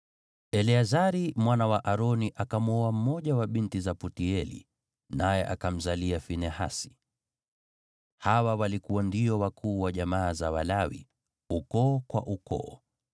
Eleazari mwana wa Aroni akamwoa mmoja wa binti za Putieli, naye akamzalia Finehasi. Hawa walikuwa ndio wakuu wa jamaa za Walawi, ukoo kwa ukoo.